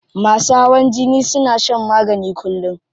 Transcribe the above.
Masu hawan jini suna shan magani kullum.